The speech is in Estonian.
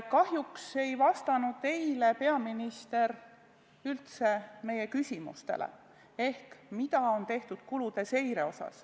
Kahjuks ei vastanud eile peaminister üldse meie küsimustele ehk sellele, mida on tehtud kulude seirega.